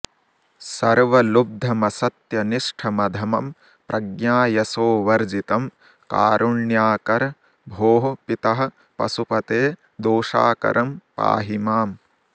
सर्वलुब्धमसत्यनिष्ठमधमं प्रज्ञायशोवर्जितं कारुण्याकर भोः पितः पशुपते दोषाकरं पाहि माम्